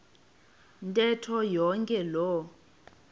ntetho yonke loo